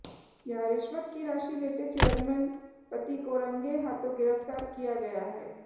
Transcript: यहां रिश्वत की राशि लेते चेयरमैन पति को रंगे हाथों गिरफ्तार किया गया है